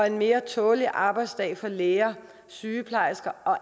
en mere tålelig arbejdsdag for læger sygeplejersker og